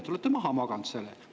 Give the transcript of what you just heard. Te olete maha maganud selle!